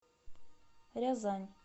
рязань